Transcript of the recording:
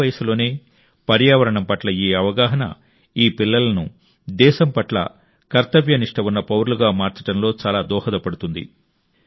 చిన్న వయస్సులోనే పర్యావరణం పట్ల ఈ అవగాహన ఈ పిల్లలను దేశం పట్ల కర్తవ్యనిష్ట ఉన్న పౌరులుగా మార్చడంలో చాలా దోహదపడుతుంది